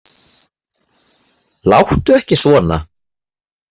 Láttu ekki svona!